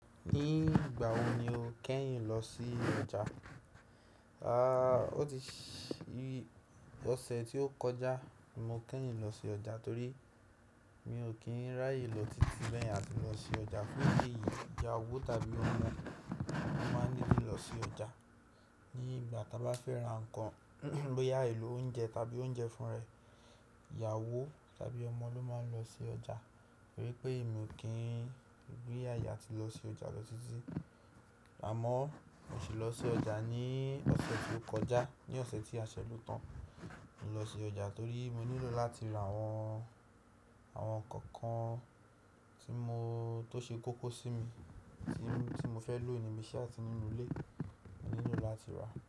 Ní ìgbà wo ni o kẹ́yìn lọ sí ọjà? A, ó ti ṣi-- ọ̀sẹ̀ tí ó kọjá mo kẹ́yìn lọ sí ọjà torí mi ò kí ń ráyè lọ títí bẹ́ẹ̀ yẹn áti lọ sí ọjà. Loni yii, ìyàwó tàbí ọmọ ló máa ń nílò lọ sí ọjà. Ní ìgbà tá bá fẹ́ ra nǹkan, bóyà, èlò oúnjẹ tàbí oúnjẹ fún ra ẹ̀, ìyàwó tàbí ọmọ ló máa ń lọ sí ọjà. Tori pé emi ò kí ń rí àaye atí lọ sí ọjà lọ títí. Àmọ́ mo sì lọ sí ọjà ní ọ̀sẹ̀ tí ó kọjá. Ní ọ̀sẹ̀ tí a ṣẹ́ ló tàn, mo lọ sí ọjà torí mo nílò láti ra àwọn, àwọn ǹkan kan tí mo, tó ṣe kókó sí mi, tí, tí mo fẹ́ lò níbí ise àti nínú ilé, mo nílò láti rà.